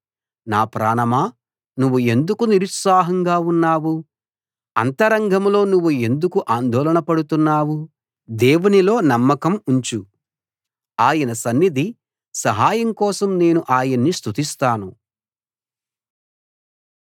నా ప్రాణమా నువ్వు ఎందుకు నిరుత్సాహంగా ఉన్నావు అంతరంగంలో నువ్వు ఎందుకు ఆందోళనపడుతున్నావు దేవునిలో నమ్మకం ఉంచు ఆయన సన్నిధి సహాయం కోసం నేను ఆయన్ని స్తుతిస్తాను